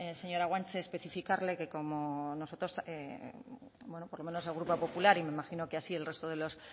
señora guanche especificarle que como nosotros bueno por lo menos el grupo popular y me imagino que así el resto